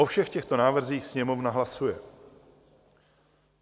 O všech těchto návrzích Sněmovna hlasuje.